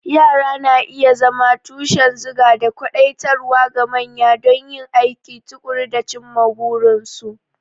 Yara na iya zama tushen zuga da kwadaitarwa ga manya don yin aiki tuƙuru da cimma burinsu.